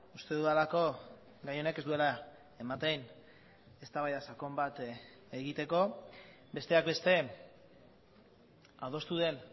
uste dudalako gai honek ez duela ematen eztabaida sakon bat egiteko besteak beste adostu den